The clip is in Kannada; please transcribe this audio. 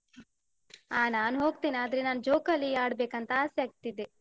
ಅ ನಾನು ಹೋಗ್ತೀನೆ, ಆದ್ರೆ ನಾನ್ ಜೋಕಾಲಿ ಆಡ್ಬೇಕಂತ ಆಸೆ ಆಗ್ತಿದೆ.